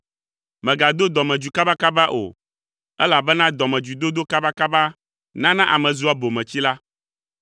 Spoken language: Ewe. Mègado dɔmedzoe kabakaba o, elabena dɔmedzoedodo kabakaba nana ame zua bometsila.